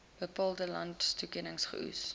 bepaalde landstoekenning geoes